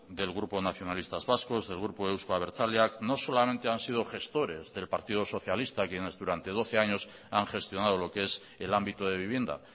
del grupo nacionalistas vascos del grupo euzko abertzaleak no solamente han sido gestores del partido socialista quienes durante doce años han gestionado lo que es el ámbito de vivienda